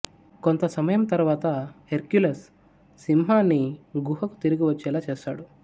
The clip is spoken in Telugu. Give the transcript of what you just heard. కొంత సమయం తరువాత హెర్క్యులస్ సింహాన్ని గుహకు తిరిగి వచ్చేలా చేస్తాడు